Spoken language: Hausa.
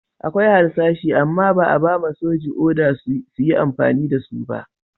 Akwai harsashi amma ba'a ba'ma sojin oda su yi amfani da su ba.